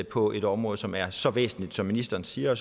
på et område som er så væsentligt som ministeren siger